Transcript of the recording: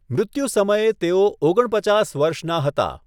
મૃત્યુ સમયે તેઓ ઓગણપચાસ વર્ષના હતા.